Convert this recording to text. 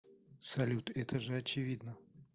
салют это же очевидно